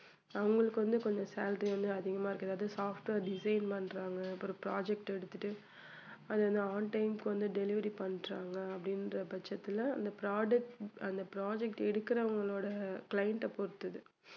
அவங்களுக்கு வந்து கொஞ்சம் salary வந்து அதிகமா இருக்கு. அதாவது software design பண்றாங்க அப்புறம் project எடுத்துட்டு அதை on time க்கு வந்து delivery பண்றாங்க அப்படின்ற பட்சத்துல அந்த product அந்த project எடுக்குறவங்களோட client அ பொறுத்தது